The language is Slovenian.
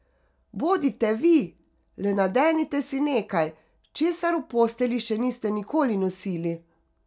Bodite vi, le nadenite si nekaj, česar v postelji še niste nikoli nosili.